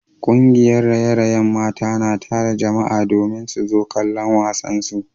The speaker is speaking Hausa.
Kungiyar raye-rayen mata na tara jama’a domin su zo kallon wasansu